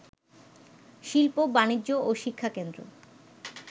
শিল্প, বাণিজ্য ও শিক্ষাকেন্দ্র